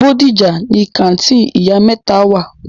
Bódìjà ni kàńtìnì ìyá mẹ́ta wà.